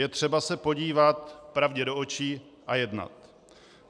Je třeba se podívat pravdě do očí a jednat.